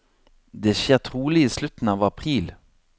Det skjer trolig i slutten av april.